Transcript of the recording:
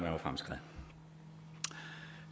var fremskreden